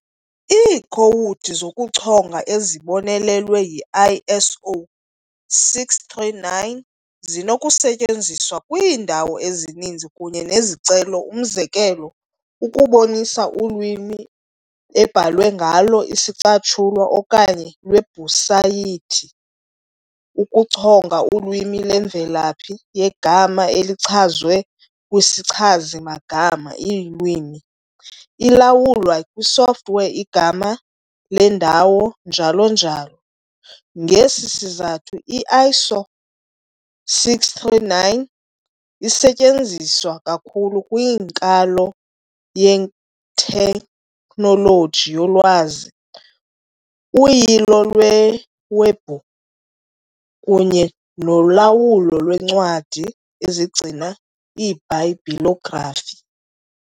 Iikhowudi zokuchonga ezibonelelwe yi-ISO 639 zinokusetyenziswa kwiindawo ezininzi kunye nezicelo, umzekelo ukubonisa ulwimi ebhalwe ngalo isicatshulwa okanye iwebhusayithi, ukuchonga ulwimi lwemvelaphi yegama elichazwe kwisichazi-magama, iilwimi. ilawulwa kwisoftware, igama lendawo njl.njl. Ngesi sizathu, ISO 639 isetyenziswa kakhulu kwinkalo yethekhnoloji yolwazi, uyilo lwewebhu kunye nolawulo lweencwadi ezigcina iibhayibhilografi.